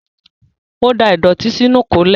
Ó da ìdọ̀tí sínú ìkólẹ̀.